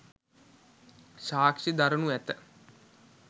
සාක්‍ෂි දරණු ඇත